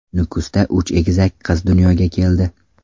Nukusda uch egizak qiz dunyoga keldi.